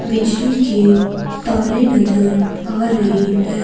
बिजली के तारें नजर आ रही है।